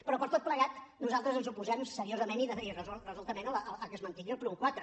però per tot plegat nosaltres ens oposem seriosament i resoludament a que es mantingui el punt quatre